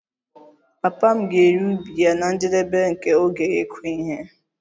Papa m ga-ere ubi ya na njedebe nke oge ịkụ ihe a